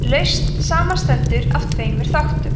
lausn samanstendur af tveimur þáttum